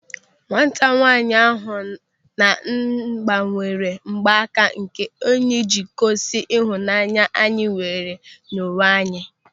Nwata nwaanyị ahụ na m gbanwere mgbaaka nke enyi ịji gosi ịhụnanya anyị nwere nye onwe anyị.